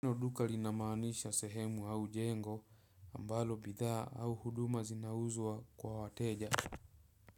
Neno duka linamaanisha sehemu au jengo ambalo bidhaa au huduma zinauzwa kwa wateja.